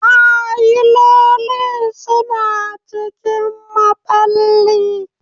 Fayilolin suna cikin maɓalli.